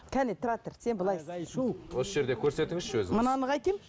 кәне тұра тұр сен былай істе осы жерде көрсетіңізші өзіңіз мынаны қайтемін